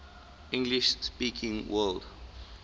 english speaking world